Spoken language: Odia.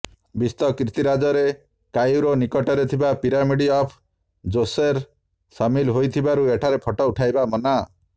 ବିଶ୍ୱ କୀର୍ତିରାଜରେ କାଇରୋ ନିକଟରେ ଥିବା ପିରାମିଡ ଅଫ ଜୋସେର ସାମିଲ ହୋଇଥିବାରୁ ଏଠାରେ ଫଟୋ ଉଠାଇବା ମନା